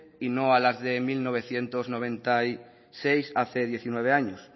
y no a las del mil novecientos noventa y seis hace diecinueve años